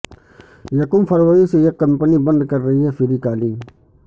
یکم فروری سے یہ کمپنی بند کررہی ہے فری کالنگ